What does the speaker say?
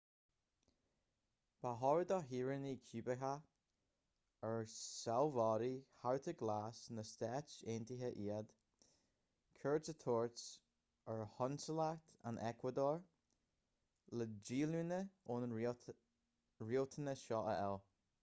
ba chóir do shaoránaigh cúbacha ar sealbhóirí chárta glas na stát aontaithe iad cuairt a thabhairt ar chonsalacht an eacuadór le díolúine ón riachtanas seo a fháil